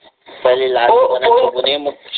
पहिले लहान दुकानात बघुन ये मग